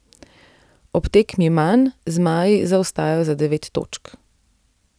Ob tekmi manj zmaji zaostajajo za devet točk.